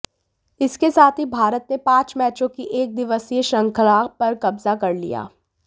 इसके साथ ही भारत ने पांच मैचों की एकदिवसीय श्रृंखला पर कब्जा कर लिया